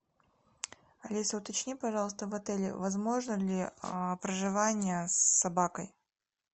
алиса уточни пожалуйста в отеле возможно ли проживание с собакой